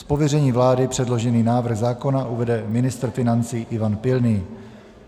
Z pověření vlády předložený návrh zákona uvede ministr financí Ivan Pilný.